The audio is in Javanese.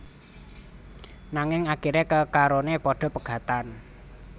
Nanging akiré kekaroné padha pegatan